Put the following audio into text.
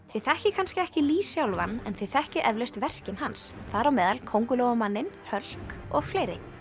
þið þekkið kannski ekki Lee sjálfan en þið þekkið eflaust verkin hans þar á meðal Köngulóarmanninn Hulk og fleiri